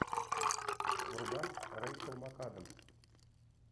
врубай рэйчел макадамс